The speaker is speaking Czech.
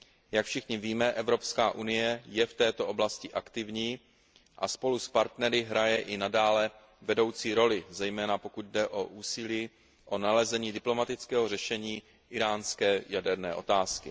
Jak všichni víme, Evropská unie je v této oblasti aktivní a spolu s partnery hraje i nadále vedoucí roli, zejména pokud jde o úsilí o nalezení diplomatického řešení íránské jaderné otázky.